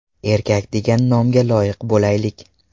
Erkak degan nomga loyiq bo‘laylik!